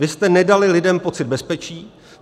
Vy jste nedali lidem pocit bezpečí.